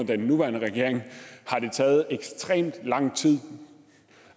den nuværende regering har taget ekstremt lang tid